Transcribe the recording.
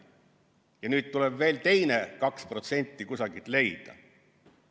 Ja nüüd tuleb veel teine 2% kusagilt leida.